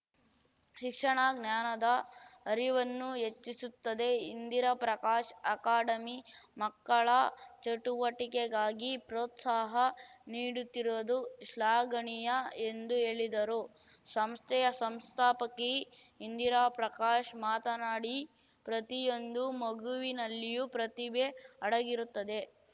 ಶಿಕ್ಷಣ ಜ್ಞಾನದ ಅರಿವನ್ನು ಹೆಚ್ಚಿಸುತ್ತದೆ ಇಂದಿರಾ ಪ್ರಕಾಶ್‌ ಅಕಾಡೆಮಿ ಮಕ್ಕಳ ಚಟುವಟಿಕೆಗಾಗಿ ಪ್ರೋತ್ಸಾಹ ನೀಡುತ್ತಿರುವುದು ಶ್ಲಾಘನೀಯ ಎಂದು ಹೇಳಿದರು ಸಂಸ್ಥೆಯ ಸಂಸ್ಥಾಪಕಿ ಇಂದಿರಾ ಪ್ರಕಾಶ್‌ ಮಾತನಾಡಿ ಪ್ರತಿಯೊಂದು ಮಗುವಿನಲ್ಲಿಯೂ ಪ್ರತಿಭೆ ಅಡಗಿರುತ್ತದೆ